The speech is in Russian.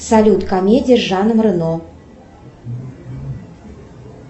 салют комедия с жаном рено